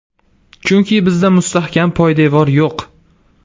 Chunki bizda mustahkam poydevor yo‘q.